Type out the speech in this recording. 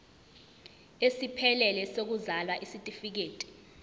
esiphelele sokuzalwa isitifikedi